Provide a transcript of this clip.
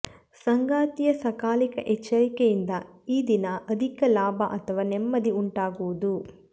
ಸಂಗಾತಿಯ ಸಕಾಲಿಕ ಎಚ್ಚರಿಕೆಯಿಂದ ಈದಿನ ಅಧಿಕ ಲಾಭ ಅಥವಾ ನೆಮ್ಮದಿ ಉಂಟಾಗುವುದು